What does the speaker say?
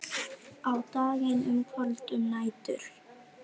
Á daginn, um kvöld, um nætur.